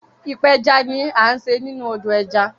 ipeja ní a ṣe nínú odo ẹja.